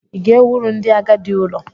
Ị ga-ewuru ndị agadi ụlọ?